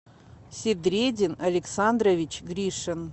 седредин александрович гришин